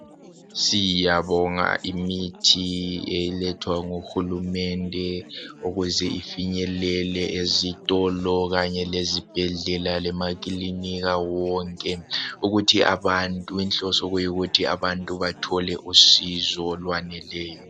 Siyabonga imithi elethwa nguhulumende ukuze ifinyelele ezitolo Kanye lezibhedlela lemakilinika wonke ukuthi abantu inhloso kuyikuthi abantu bathole usizo olweneleyo